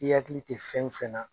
I hakili tɛ fɛn fɛn na